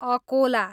Akola